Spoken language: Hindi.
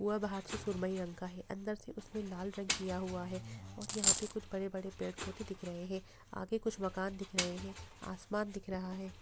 वह बाहर से सुरमई रंग का है अंदर से उसमे लाल रंग किया हुआ है और यहाँ पे कुछ बड़े-बड़े पेड़ पौधे दिख रहै हैआगे कुछ मकान दिख रहै हैं आसमान दिख रहा है।